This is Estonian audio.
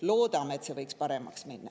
Loodame, et see läheb paremaks.